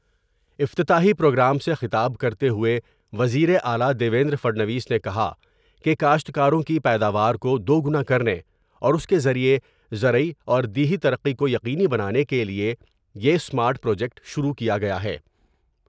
افتتاحی پروگرام سے خطاب کرتے ہوئے وزیر اعلی دیویندر پھڑنویس نے کہا کہ کاشتکاروں کی پیداوار کو دوگنا کرنے اور اس کے ذریعے زرعی اور دیہی ترقی کو یقینی بنانے کیلئے یہ اسمارٹ پروجیکٹ شروع کیا گیا ہے ۔